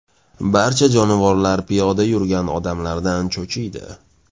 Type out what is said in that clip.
Barcha jonivorlar piyoda yurgan odamlardan cho‘chiydi.